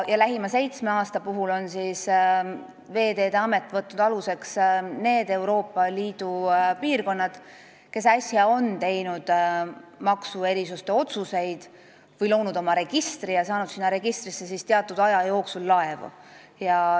Ja lähima seitsme aasta puhul on Veeteede Amet võtnud aluseks need Euroopa Liidu piirkonnad, kes on äsja teinud maksuerisuste otsuseid või loonud oma registri ja saanud sinna laevu teatud aja jooksul.